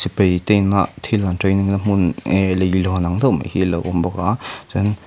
sipai te ina thil an training na hmun ee leihlawn ang deuh mai hi a lo awm bawk a chuan in--